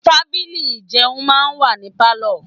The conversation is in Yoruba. Tábìlì ìjẹun máa ń wà ní Pálọ̀.